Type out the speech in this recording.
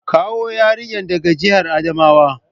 Kawo yarinya daga jihar Adamawa!